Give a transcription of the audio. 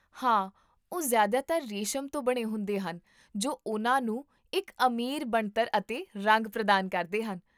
ਹਾਂ, ਉਹ ਜਿਆਦਾਤਰ ਰੇਸ਼ਮ ਤੋਂ ਬਣੇ ਹੁੰਦੇ ਹਨ ਜੋ ਉਹਨਾਂ ਨੂੰ ਇੱਕ ਅਮੀਰ ਬਣਤਰ ਅਤੇ ਰੰਗ ਪ੍ਰਦਾਨ ਕਰਦੇ ਹਨ